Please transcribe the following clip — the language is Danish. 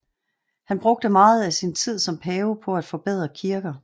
Han brugte meget af sin tid som pave på et forbedre kirker